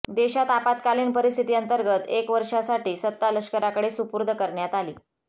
देशात आपात्कालीन परिस्थिती अंतर्गत एक वर्षासाठी सत्ता लष्कराकडे सूपूर्द करण्यात आली